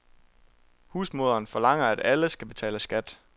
Husmoderen forlanger, at alle skal betale skat.